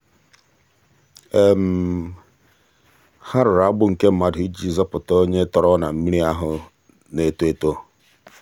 ha rụrụ agbụ nke mmadụ iji zọpụta onye tọrọ na mmiri ahụ na-eto eto.